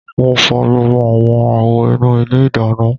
Mo fọ gbogbo awọn awo inu ile idana